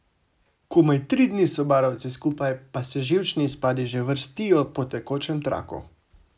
Komaj tri dni so barovci skupaj, pa se živčni izpadi že vrstijo po tekočem traku.